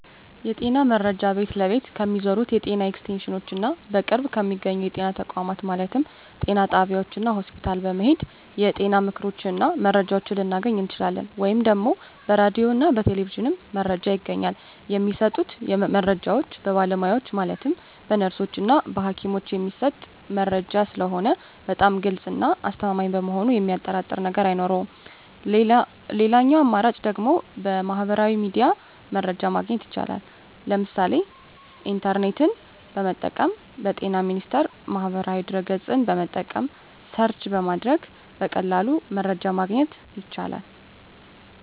የጤና መረጃ ቤት ለቤት ከሚዞሩት የጤና ኤክስቴንሽኖች እና በቅርብ በሚገኙ የጤና ተቋማት ማለትም ጤና ጣቢያዎች እና ሆስፒታል በመሔድ የጤና ምክሮችን እና መረጃዎችን ልናገኝ እንችላለን። ወይም ደግሞ በራዲዮ እና በቴሌቪዥንም መረጃ ይገኛል። የሚሰጡት መረጃዎች በባለሙያዎች ማለትም በነርሶች እና በሀኪሞች የሚሰጥ መረጂ ስለሆነ በጣም ግልፅ እና አስተማማኝ በመሆኑ የሚያጠራጥር ነገር አይኖረውም ሌላኛው አማራጭ ደግሞ በሚህበራዊ ሚዲያ መረጃ ማግኘት ይቻላል ለምሳሌ ኢንተርኔትን በመጠቀም በጤና ሚኒስቴር ማህበራዊ ድህረ ገፅን በመጠቀም ሰርች በማድረግ በቀላሉ መረጃን ማግኘት ይቻላል።